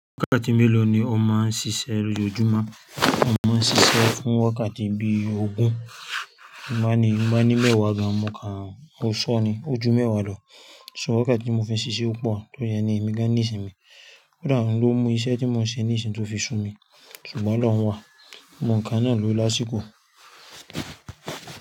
Wákàtí mélòó ni o máa ń ṣiṣẹ́ lójúmọ́? Mo máa ń ṣiṣẹ́ fún wákàtí bí ogún, bi n ba ní, bi n ba ní mẹ́wàá gan, mo kàán, mo ṣo ni, o jú mẹ́wàá lọ. So wákàtí tí mo fi ń ṣiṣẹ́ o pọ̀ tó riẹ ni èmi gán ní ìsinmi. Ó dà oun ló mú iṣẹ́ tí mo ń ṣe ní ìṣìn tó fi ṣú mi, ṣùgbọ́n olọ́hun wá, gbogbo ńkàn náà ló lásìkò.